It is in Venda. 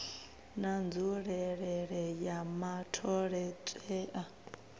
na nzulelele ya matholetwe a